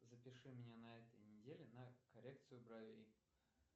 запиши меня на этой неделе на коррекцию бровей